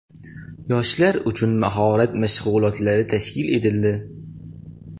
Yoshlar uchun mahorat mashg‘ulotlari tashkil etildi.